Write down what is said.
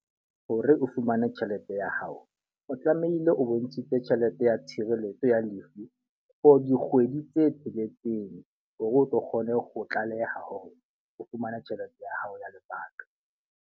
Hore o fumane tjhelete ya hao, o tlamehile o bontshitse tjhelete ya tshireletso ya lefu for dikgwedi tse tsheletseng. Hore o tlo kgone ho tlaleha hore o fumane tjhelete ya hao ya lepato.